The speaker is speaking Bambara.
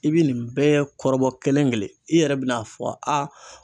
I bɛ nin bɛɛ kɔrɔbɔ kelen kelen i yɛrɛ bɛ n'a fɔ